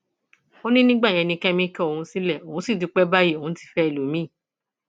ó ní ìgbà yẹn ni kẹmi kọ òun sílẹ òun sì dúpẹ báyìí òun ti fẹ ẹlòmíín